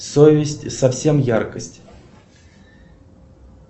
совесть совсем яркость